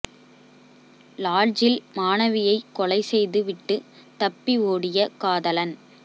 லாட்ஜில் மாணவியை கொலை செய்து விட்டு தப்பி ஓடிய காதலன்